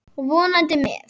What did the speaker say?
Vonandi með.